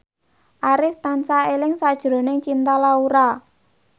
Arif tansah eling sakjroning Cinta Laura